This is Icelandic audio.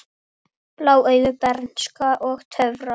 Blá augu, bernska og töfrar